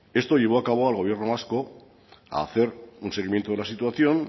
esto llevó a cabo al gobierno vasco a hacer un seguimiento de la situación